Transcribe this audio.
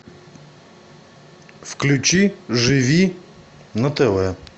включи живи на тв